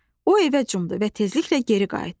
O evə cumdu və tezliklə geri qayıtdı.